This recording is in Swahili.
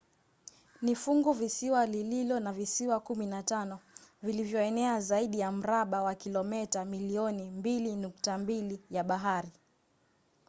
ni funguvisiwa lililo na visiwa 15 vilivyoenea zaidi ya mraba wa kilometa milioni 2.2 ya bahari